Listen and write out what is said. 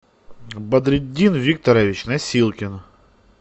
бадретдин викторович носилкин